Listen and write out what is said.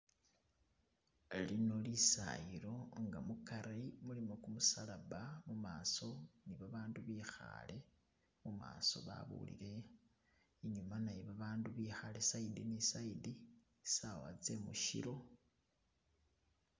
Lino lisayilo nga mukari mulimo kumusalaba mumaso nibabandu bikhale mumaso babulile, inyuma naye babandu bikhale side ni side sawa tse mushilo.